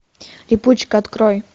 липучка открой